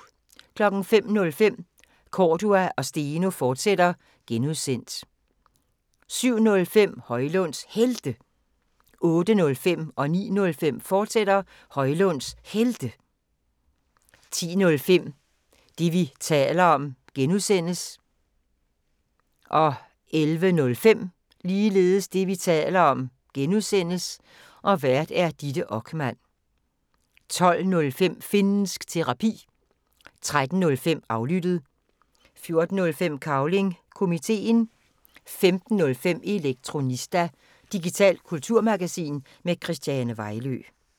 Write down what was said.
05:05: Cordua & Steno, fortsat (G) 07:05: Højlunds Helte 08:05: Højlunds Helte, fortsat 09:05: Højlunds Helte, fortsat 10:05: Det, vi taler om (G) Vært: Ditte Okman 11:05: Det, vi taler om (G) Vært: Ditte Okman 12:05: Finnsk Terapi 13:05: Aflyttet 14:05: Cavling Komiteen 15:05: Elektronista – digitalt kulturmagasin med Christiane Vejlø